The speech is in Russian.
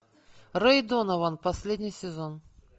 рэй донован последний сезон